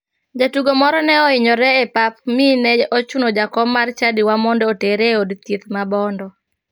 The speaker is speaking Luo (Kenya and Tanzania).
Jatugo moro ne ohinyore e pap mi ne ochuno jakom mar chadiwa mondo otere e od thieth ma bondo.